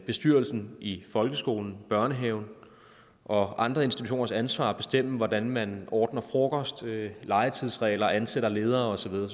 bestyrelsen i folkeskolen børnehaven og andre institutioners ansvar at bestemme hvordan man ordner frokost laver legetidsregler ansætter ledere og så videre